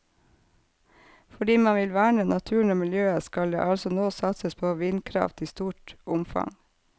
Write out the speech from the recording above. Fordi man vil verne naturen og miljøet, skal det altså nå satses på vindkraft i stort omfang.